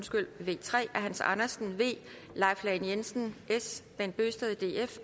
vi tre af hans andersen leif lahn jensen bent bøgsted